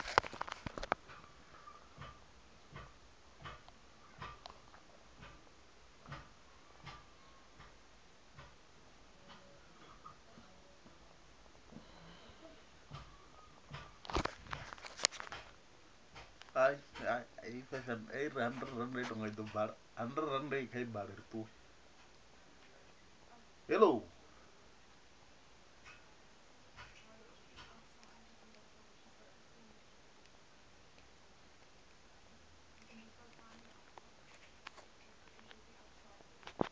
u hatula nga u vha